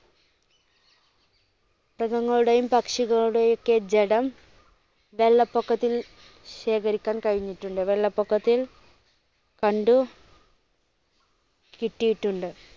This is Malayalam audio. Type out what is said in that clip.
മൃഗങ്ങളുടെയും പക്ഷികളുടെ ഒക്കെ ജഡം വെള്ളപ്പൊക്കത്തിൽ ശേഖരിക്കാൻ കഴിഞ്ഞി ട്ടുണ്ട്. വെള്ളപ്പൊക്കത്തിൽ കണ്ടു കിട്ടിയിട്ടുണ്ട്.